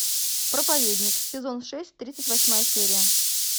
проповедник сезон шесть тридцать восьмая серия